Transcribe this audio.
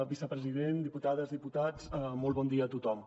vicepresident diputades diputats molt bon dia a tothom